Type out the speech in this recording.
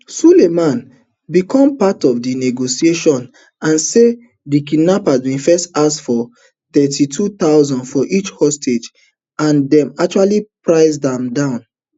sulaiman become part of di negotiations and say di kidnappers bin first ask for thirty-two thousand for each hostage and dem eventually price am down